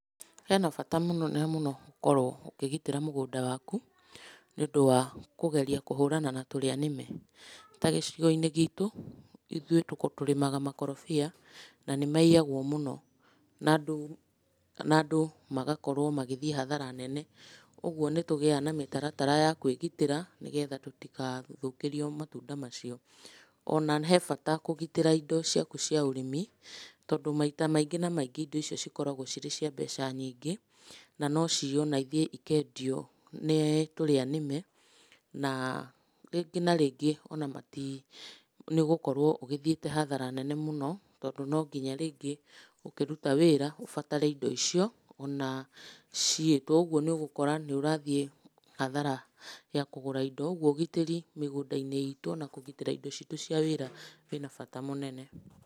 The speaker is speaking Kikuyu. Hena bata mũnene mũno gũkorwo ũkĩgitĩra mũgũnda waku, nĩũndũ wa kũgeria kũhũrana na tũrĩa nĩme. Ta gĩcigo-inĩ gitũ, ithuĩ tũrĩmaga makorobia na nĩmaiyagwo mũno, na andũ na andũ magakorwo magĩthiĩ hathara nene. Ũguo nĩtũgĩaga na mĩtaratara ya kwĩgitĩra nĩgetha tũtigathũkĩrio matunda macio. Ona he bata kũgitĩra indo ciaku cia ũrĩmi tondũ maita maingĩ na maingĩ indo icio cikoragwo cirĩ cia mbeca nyingĩ, na no ciywo na ithiĩ ikendio nĩ tũrĩa nĩme, na rĩngĩ na rĩngĩ ona mati, nĩũgũkorwo ũgĩthiĩte hathara nene mũno tondũ no nginya rĩngĩ ũkĩruta wĩra ũbatare indo icio ona ciyĩtwo. Ũguo nĩũgũkora nĩũrathiĩ hathara ya kũgũra indo. Ũguo ũgitĩri mĩgũnda-inĩ itũ ona kũgitĩra indo citũ cia wĩra kwĩna bata mũnene.